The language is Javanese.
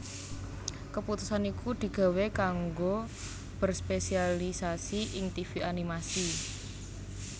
Keputusan iku digawé kanggo berspesialisasi ing tivi animasi